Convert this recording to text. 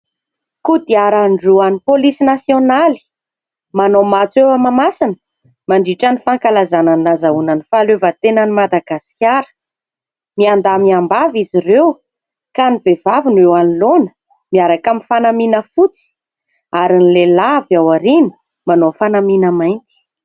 Kodiaran-droa any polisy nasionaly, manao matso eo Mahamasina, mandritra ny fankalazana ny nahazoana ny fahaleovantenan'ny Madagasikara. Miandahy, miambavy izy ireo ka ny vehivavy no eo anoloana miaraka amin'ny fanamiana fotsy ary ny lehilahy avy ao aoriana manao fanamiana mainty.